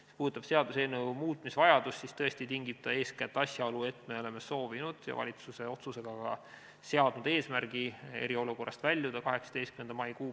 Mis puudutab seaduseelnõu muutmise vajadust, siis tõesti tingib seda eeskätt asjaolu, et me oleme soovinud ja valitsuse otsusega ka seadnud eesmärgi eriolukorrast väljuda 18. mail.